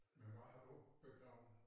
Men hvar har du bedreven